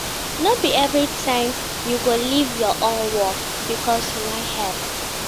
No be every time you go leave your own work because you wan help.